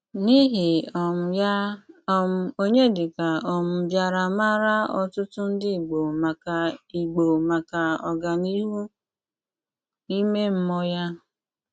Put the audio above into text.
N’íhì um yá, um Ọnyédíkà um bìárà máárá ótụ́tù ndí Ìgbò maka Ìgbò maka ọ́gáníhù ímé mmùọ́ yá.